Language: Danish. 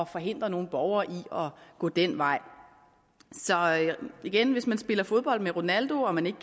forhindre nogle borgere i at gå den vej igen hvis man spiller fodbold med ronaldo og man ikke